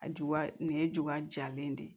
A juba nin ye juwa jalen de ye